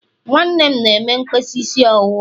nwanne m na-eme mkpesa isi ọwụwa.